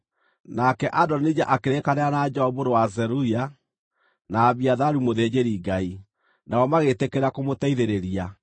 Nake Adonija akĩrĩkanĩra na Joabu mũrũ wa Zeruia, na Abiatharu mũthĩnjĩri-Ngai, nao magĩtĩkĩra kũmũteithĩrĩria.